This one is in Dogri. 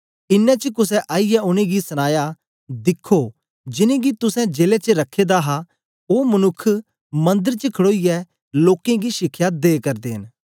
इनें च कुसे आईयै उनेंगी सनाया दिखो जिनेंगी तुसें जेले च रखा दा हा ओ मनुक्ख मंदर च खड़ोईयै लोकें गी शिखया दे करदे न